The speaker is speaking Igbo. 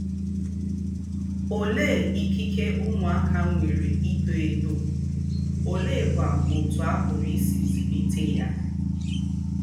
Olee ikike ụmụaka nwere ito eto, oleekwa otú a pụrụ isi zụlite ya?